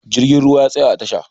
Jirgin ruwa ya tsaya a tasha